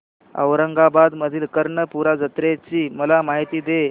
औरंगाबाद मधील कर्णपूरा जत्रेची मला माहिती दे